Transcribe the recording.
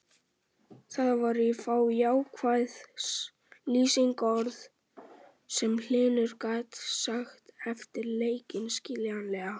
Það voru fá jákvæð lýsingarorð sem Hlynur gat sagt eftir leikinn, skiljanlega.